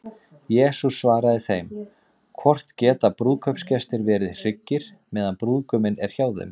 Jesús svaraði þeim: Hvort geta brúðkaupsgestir verið hryggir, meðan brúðguminn er hjá þeim?